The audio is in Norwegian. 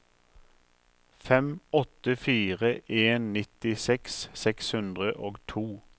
fem åtte fire en nittiseks seks hundre og to